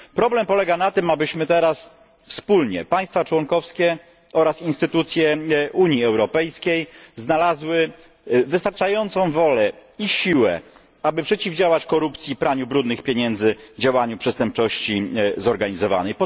Problem polega na tym, abyśmy teraz wspólnie państwa członkowskie oraz instytucje Unii Europejskiej znaleźli wystarczającą wolę i siłę, aby przeciwdziałać korupcji i praniu brudnych pieniędzy, działaniu przestępczości zorganizowanej.